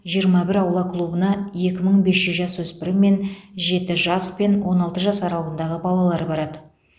жиырма бір аула клубына екі мың бес жүз жасөспірім мен жеті жас пен он алты жас аралығындағы балалар барады